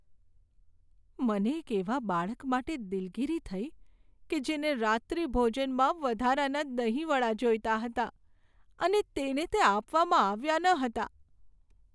મને એક એવા બાળક માટે દિલગીરી થઈ કે જેને રાત્રિભોજનમાં વધારાના દહીં વડા જોઈતા હતા અને તેને તે આપવામાં આવ્યા ન હતા.